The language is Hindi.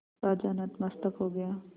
राजा नतमस्तक हो गया